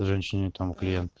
женщине там клиент